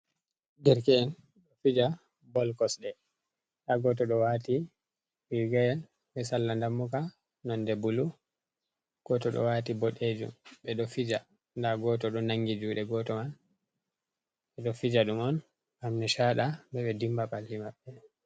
Derke’'en ɗo fija bol kosɗe nda goto ɗo wati rigayel be salla dammuka nonde bulu, goto ɗo wati boɗejum ɓeɗo fija, nda goto do nangi juɗe goto ma ɓeɗo fija ɗum on ngam nechaɗa ɓe dimba balli maɓɓe.